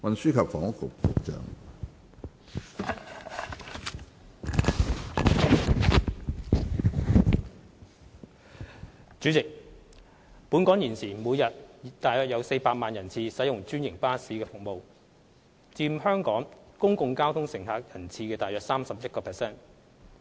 主席，本港現時每日約有400萬人次使用專營巴士服務，佔全港公共交通乘客人次約 31%。